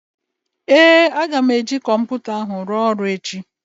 Ee, aga m eji kọmputa ahụ ruo ọrụ echi